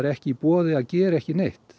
ekki í boði að gera ekki neitt